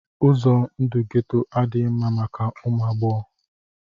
Ụzọ ndụ geto adịghị mma maka ụmụ agbọghọ